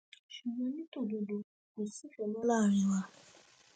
ṣùgbọn ní tòdodo kò sífẹẹ mọ láàrin wa